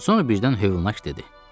Sonra birdən hövlaək dedi: